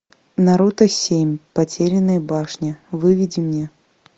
наруто семь потерянная башня выведи мне